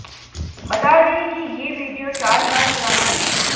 बता दें कि ये वीडियो चार साल पुराना है